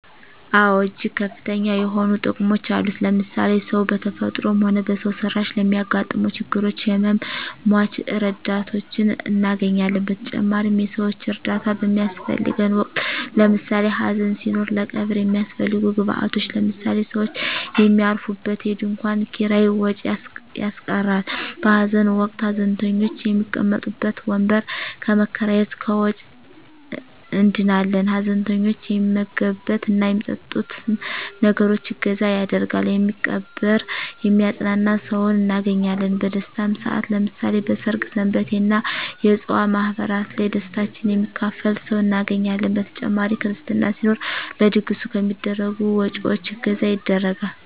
አወ እጅግ ከፍተኛ የሆኑ ጥቅሞች አሉት ለምሳሌ ሰው በተፈጥሮም ሆነ በሰው ሰራሽ ለሚያገጥመው ችግሮች ህመመ ሞች ረዳቶችን እናገኛለን በተጨማሪም የሰወች እርዳታ በሚያሰፈልገን ወቅት ለምሳሌ ሀዘን ሲኖር ለቀብር የሚያሰፈልጉ ግብአቶች ለምሳሌ ሰውች የሚያርፉበት የድንኮን ኪራይ ወጭ ያስቀራል በሀዘን ወቅት ሀዘንተኞች የሚቀመጡበት ወንበር ከመከራየት ከወጭ እንድናለን ሀዘንተኞች የሚመገብት እና የሚጠጡትን ነገሮች እገዛ ያደርጋሉ የሚቀብር የሚያጵናና ሰውን እናገኛለን በደስታም ሰአት ለምሳሌ በሰርግ ሰንበቴ እና የፅዋ ማህበራት ላይ ደስታችን የሚካፈል ሰው እናገኛለን በተጨማሪ ክርስትና ሲኖር ለድግሱ ከሚደረጉ ወጭወች እገዛ ይደረጋል።